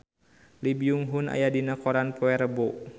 Lee Byung Hun aya dina koran poe Rebo